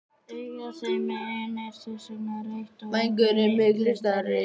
Augað þeim megin er þess vegna rautt og vængurinn miklu stærri.